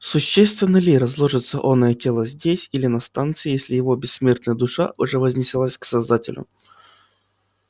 существенно ли разложится оное тело здесь или на станции если его бессмертная душа уже вознеслась к создателю